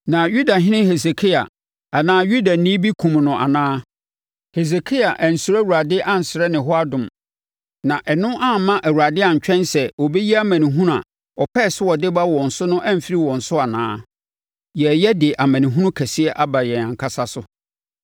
Na Yudahene Hesekia anaa Yudani bi kumm no anaa? Hesekia ansuro Awurade ansrɛ ne hɔ adom? Na ɛno amma Awurade antwɛn sɛ ɔbɛyi amanehunu a ɔpɛɛ sɛ ɔde ba wɔn so no amfiri wɔn so anaa? Yɛreyɛ de amanehunu kɛseɛ aba yɛn ankasa so!”